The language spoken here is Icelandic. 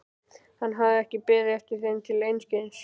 Hann hafði ekki beðið eftir þeim til einskis.